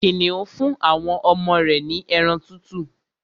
Kìnìún fún àwọn ọmọ rẹ̀ ní ẹran tútù